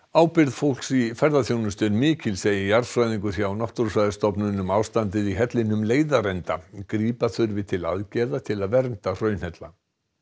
ábyrgð fólks í ferðaþjónustu er mikil segir jarðfræðingur hjá Náttúrustofnun um ástandið í hellinum leiðarenda grípa þurfi til aðgerða til að vernda hraunhella